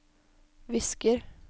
visker